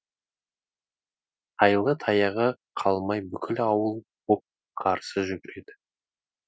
тайлы таяғы қалмай бүкіл ауыл боп қарсы жүгіреді